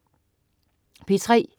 P3: